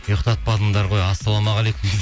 ұйықтатпадыңдар ғой ассалаумағалейкум